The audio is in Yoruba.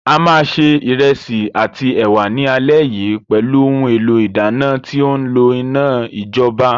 A máa ṣe ìrẹsì àti ẹ̀wà ní alẹ́ yìí pẹ̀lú ohun èlò ìdáná tí ó ńlo iná ìjọba.